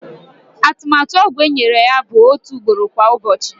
Atụmatụ ọgwụ enyere ya bụ otu ugboro kwa ụbọchị.